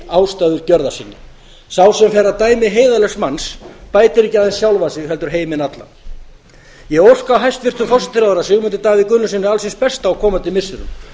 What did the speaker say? ástæður gjörða sinna sá sem fer að dæmi heiðarlegs manns bætir ekki aðeins sjálfan sig heldur heiminn allan ég óska hæstvirtum forsætisráðherra sigmundi davíð gunnlaugssyni alls hins besta á komandi missirum